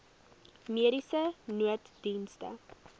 mediese nooddienste